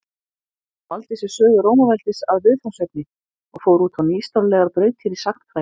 Hann valdi sér sögu Rómaveldis að viðfangsefni og fór út á nýstárlegar brautir í sagnfræði.